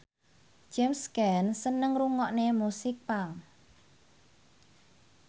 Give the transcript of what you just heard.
James Caan seneng ngrungokne musik punk